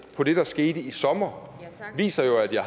på det der skete i sommer viser jo at jeg